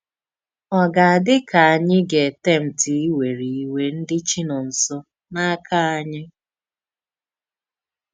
Ò gà-àdí ka ànyì gà-ètempti íwere íwere ndí Chínónsọ̀ n’áka ànyì?